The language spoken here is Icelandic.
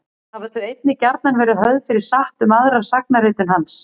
Hafa þau einnig gjarnan verið höfð fyrir satt um aðra sagnaritun hans.